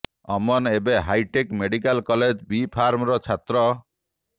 ଅମନ ଏବେ hi tech medical college B Pharm ର ଛାତ୍ର